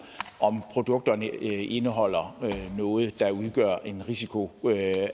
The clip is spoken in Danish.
om produkterne indeholder noget der udgør en risiko